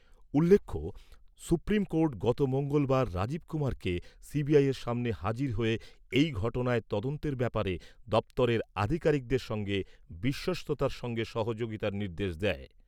উল্লেখ্য, supreme court গত মঙ্গলবার রাজীব কুমারকে সিবিআইয়ের সামনে হাজির হয়ে এই ঘটনায় তদন্তের ব্যাপারে দপ্তরের আধিকারিকদের সঙ্গে বিশ্বস্ততার সঙ্গে সহযোগিতার নির্দেশ দেয়।